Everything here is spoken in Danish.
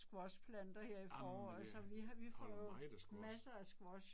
Amen jeg holder meget af squash